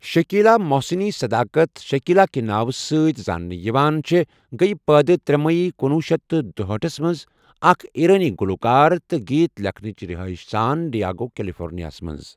Shakila Mohseni Sedaghat, Shakila کہ ناوٕ سۭتۍ زاننہٕ یوان چھےٚ گیہ پٲدٕ ترٛے مئی کُنوُہ شیتھ تہٕ دُہأٹھس مَنٛز تہٕ اَکھ ایرانی گلوکار تہٕ گیت لکھنؤچ رہائش سان ڈیاگو، کیلیفورنیا مَنٛز۔